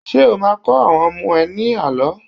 Ṣé́ o máa kọ́ àwọn ọmọ ẹ ní àlọ́?